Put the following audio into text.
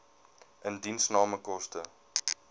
indiensname koste